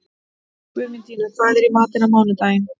Guðmundína, hvað er í matinn á mánudaginn?